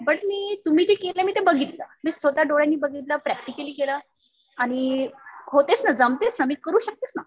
But मी तुम्ही जे केलं मी ते बघितलं. मी स्वतः डोळ्यांनी बघितलं प्रॅक्टिकली केलं. आणि होतेच ना, जमतेच ना. मी करू शकतेच ना.